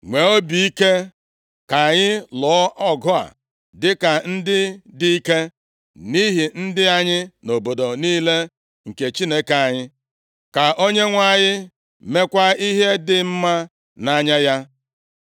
Nwee obi ike, ka anyị lụọ ọgụ a dịka ndị dị ike, nʼihi ndị anyị na obodo niile nke Chineke anyị. Ka Onyenwe anyị meekwa ihe dị mma nʼanya ya.”